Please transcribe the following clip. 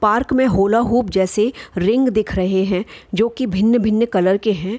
Park में hula hoop जैसे ring दिख रहे हैं जोकी भिन्न-भिन्न कलर के हैं।